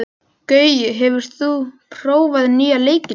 Gaui, hefur þú prófað nýja leikinn?